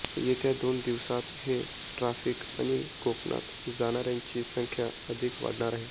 येत्या दोन दिवसांत हे ट्रॅफिक आणि कोकणात जाणाऱ्यांची संख्या अधिक वाढणार आहे